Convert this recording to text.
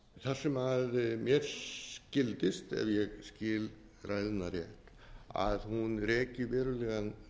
þar sem mér skildist ef ég skil ræðuna rétt að hún rekur verulegan